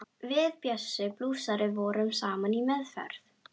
Við Bjössi blúsari vorum saman í meðferð.